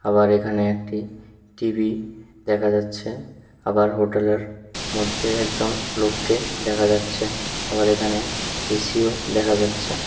আবার এখানে একটি টি_বি দেখা যাচ্ছে আবার হোটেলের মধ্যে একজন লোককে দেখা যাচ্ছে আবার এখানে এ_সিও দেখা যাচ্ছে।